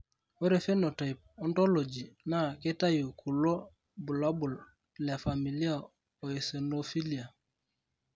Ore Phenotype Ontology naa keitayu kulo bulabol le Familial eosinophilia.